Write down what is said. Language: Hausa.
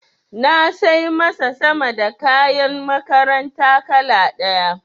Na sai masa sama da kayan makaranta kala ɗaya.